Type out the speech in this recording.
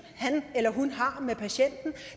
han eller hun har med patienten